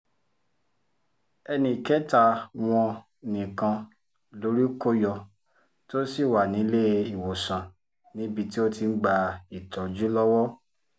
ẹnì kẹta wọn nìkan lórí kò yọ tó sì wà ní iléewòsàn níbi tó ti ń gba ìtọ́jú lọ́wọ́